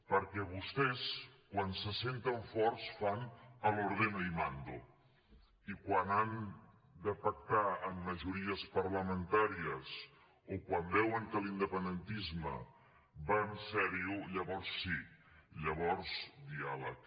perquè vostès quan se senten forts fan el ordeno y mando y quan han de pactar amb majories parlamentàries o quan veuen que l’independentisme va en sèrio llavors sí llavors diàleg